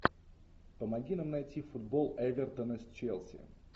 помоги нам найти футбол эвертона с челси